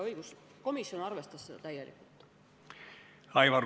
Õiguskomisjon arvestas seda ettepanekut täielikult.